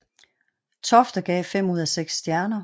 Tofte gav fem ud af seks stjerner